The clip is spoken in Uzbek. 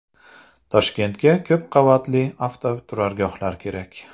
Toshkentga ko‘p qavatli avtoturargohlar kerak .